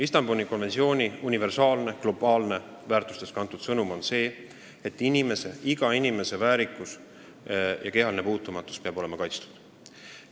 Istanbuli konventsiooni universaalne, globaalne, väärtustest kantud sõnum on see, et iga inimese väärikus peab olema kaitstud ja kehaline puutumatus tagatud.